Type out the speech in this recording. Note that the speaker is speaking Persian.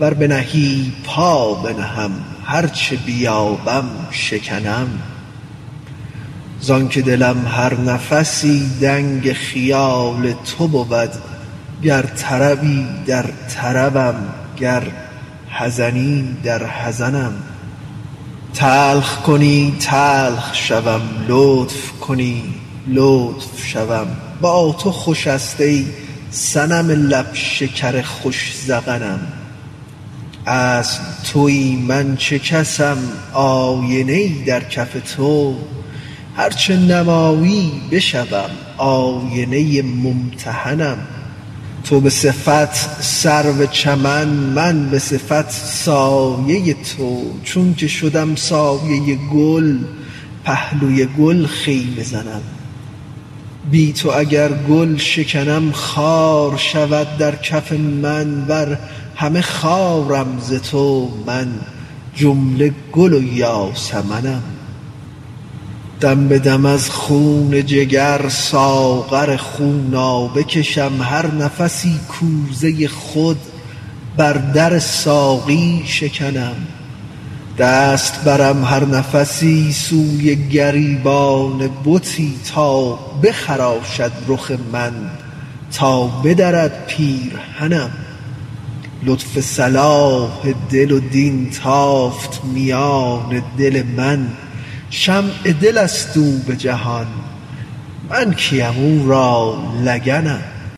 ور بنهی پا بنهم هر چه بیابم شکنم زانک دلم هر نفسی دنگ خیال تو بود گر طربی در طربم گر حزنی در حزنم تلخ کنی تلخ شوم لطف کنی لطف شوم با تو خوش است ای صنم لب شکر خوش ذقنم اصل توی من چه کسم آینه ای در کف تو هر چه نمایی بشوم آینه ممتحنم تو به صفت سرو چمن من به صفت سایه تو چونک شدم سایه گل پهلوی گل خیمه زنم بی تو اگر گل شکنم خار شود در کف من ور همه خارم ز تو من جمله گل و یاسمنم دم به دم از خون جگر ساغر خونابه کشم هر نفسی کوزه خود بر در ساقی شکنم دست برم هر نفسی سوی گریبان بتی تا بخراشد رخ من تا بدرد پیرهنم لطف صلاح دل و دین تافت میان دل من شمع دل است او به جهان من کیم او را لگنم